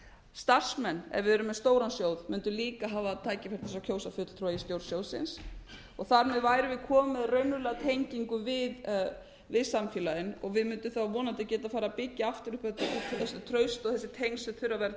starfsmenn ef við erum með stóran sjóð munu líka hafa tækifæri til þess að kjósa fulltrúa í stjórn sjóðsins og þar með værum við komin með raunverulega tengingu við samfélagið við mundum vonandi geta farið að byggja aftur upp þetta traust og þessi tengsl sem þurfa að vera til